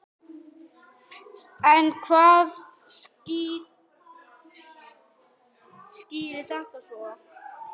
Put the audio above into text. En hvað skýrir þetta svo?